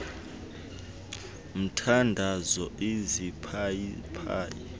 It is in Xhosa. mthandazo iziphayi phayi